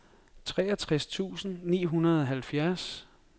treogtres tusind ni hundrede og halvfjerds